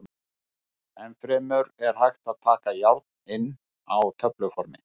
Enn fremur er hægt að taka járn inn á töfluformi.